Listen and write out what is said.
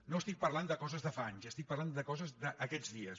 no estic parlant de coses de fa anys estic parlant de coses d’aquests dies